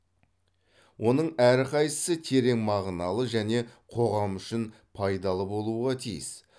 оның әрқайсысы терең мағыналы және қоғам үшін пайдалы болуға тиіс